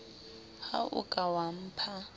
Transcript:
ha o ka wa mpha